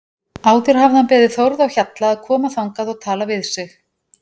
Áður hafði hann beðið Þórð á Hjalla að koma þangað og tala við sig.